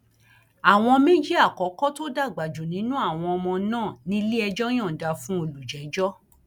àwọn méjì àkọkọ tó dàgbà jù nínú àwọn ọmọ náà níléẹjọ yọǹda fún olùjẹjọ